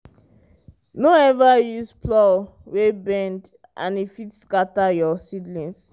no ever use plow wey bend and e fit scatter your seedlings.